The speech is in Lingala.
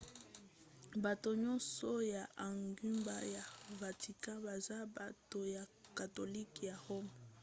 bato nyonso ya engumba ya vatican baza bato ya katolika ya roma